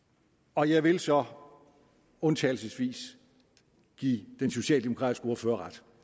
og jeg vil så undtagelsesvis give den socialdemokratiske ordfører ret